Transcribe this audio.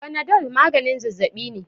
fanadol maganin zazzabi ne